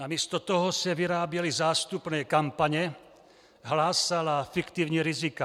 Namísto toho se vyráběly zástupné kampaně, hlásala fiktivní rizika.